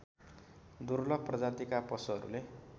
दुर्लभ प्रजातिका पशुहरूले